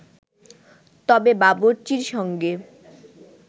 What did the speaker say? তবে বাবুর্চির সঙ্গে